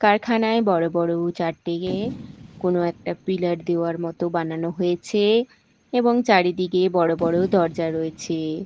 কারখানায় বড় বড় চারদিকে কোন একটা পিলার দেওয়ার মতো বানানো হয়েছে এবং চারিদিকে বড় বড় দরজা রয়েছে।